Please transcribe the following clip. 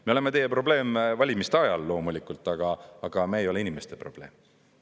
Me oleme teie probleem valimiste ajal, loomulikult, aga me ei ole inimeste probleem.